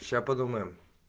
сейчас подумаем